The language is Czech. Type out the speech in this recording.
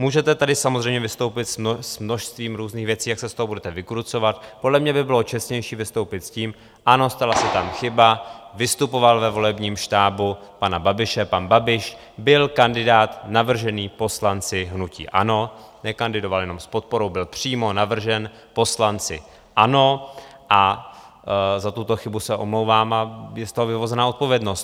Můžete tady samozřejmě vystoupit s množstvím různých věcí, jak se z toho budete vykrucovat, podle mě by bylo čestnější vystoupit s tím: Ano, stala se tam chyba, vystupoval ve volebním štábu pana Babiše, pan Babiš byl kandidát navržený poslanci hnutí ANO, nekandidoval jenom s podporou, byl přímo navržen poslanci ANO, za tuto chybu se omlouvám a je z toho vyvozena odpovědnost.